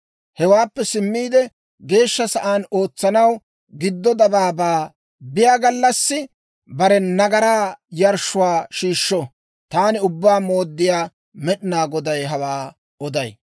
Hewaappe simmiide, Geeshsha Sa'aan ootsanaw giddo dabaabaa biyaa gallassi, bare nagaraa yarshshuwaa shiishsho. Taani Ubbaa Mooddiyaa Med'inaa Goday hawaa oday.